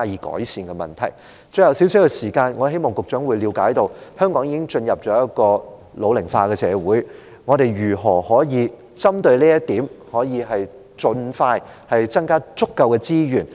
最後，餘下少量的發言時間，我希望局長了解香港已經進入老齡化的社會，我們如何針對這點，盡快增加足夠的資源？